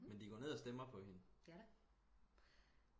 men de går ned og stemmer på hende